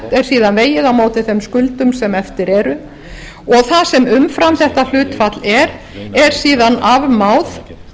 er síðan vegið á móti þeim skuldum sem eftir eru og það sem umfram þetta hlutfall er er síðan afmáð